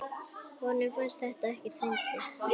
Honum fannst þetta ekkert fyndið.